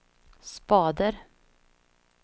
spader